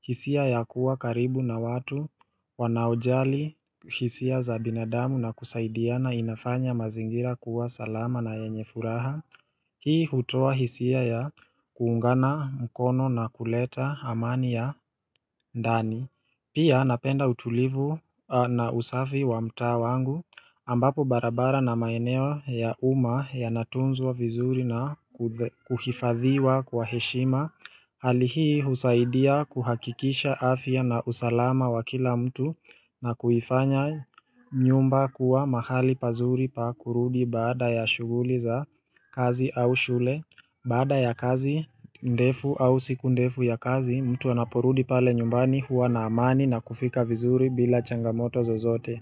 hisia ya kuwa karibu na watu wanaojali hisia za binadamu na kusaidiana inafanya mazingira kuwa salama na yenye furaha Hii hutoa hisia ya kuungana mkono na kuleta amani ya ndani Pia napenda utulivu na usafi wa mtaa wangu ambapo barabara na maeneo ya uma yanatunzwa vizuri na kuhifadhiwa kwa heshima Hali hii husaidia kuhakikisha afya na usalama wa kila mtu na kuifanya nyumba kuwa mahali pazuri pa kurudi baada ya shughuli za kazi au shule. Baada ya kazi ndefu au siku ndefu ya kazi, mtu anaporudi pale nyumbani huwa na amani na kufika vizuri bila changamoto zozote.